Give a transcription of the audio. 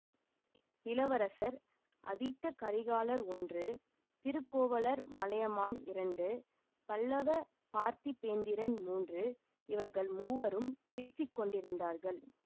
இளவரசர் அதித்த கரிகாலர் ஒன்று திருக்கோவலூர் மலையமான் இரண்டு பல்லவப் பார்த்திபேந்திரன் மூன்று இவர்கள் மூவரும் பேசி கொண்டிருந்தார்கள்